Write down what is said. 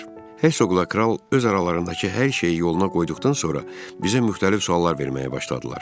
Hersoqla kral öz aralarındakı hər şeyi yoluna qoyduqdan sonra bizə müxtəlif suallar verməyə başladılar.